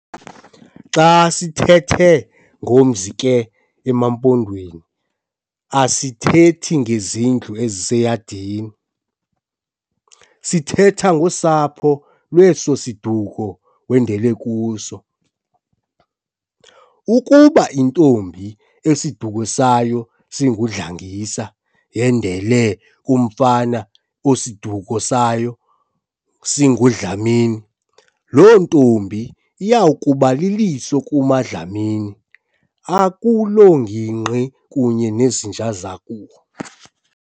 Xa sithethe ngomzi ke emaMpondweni asithethi ngezindlu eziseyadini, sithetha ngosapho lweso siduko wendele kuso. Ukuba intombi esiduko sayo singuNdlangisa yendele kumfana osiduko sayo singuDlamini, loo ntombi iyakuba liliso kumaDlamini akuloo ngingqi kunye nezinja zakubo.